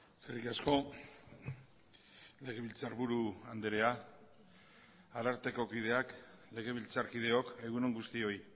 eskerrik asko legebiltzarburu andrea ararteko kideak legebiltzarkideok egun on guztioi